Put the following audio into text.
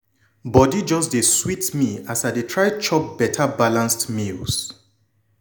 body just dey sweet me as i dey try chop beta balanced meals.